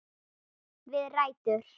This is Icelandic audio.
Við rætur